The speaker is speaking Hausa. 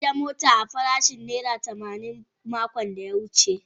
An siya motan a farashin naira tamanin makon da ya wuce.